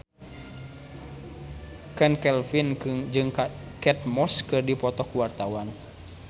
Chand Kelvin jeung Kate Moss keur dipoto ku wartawan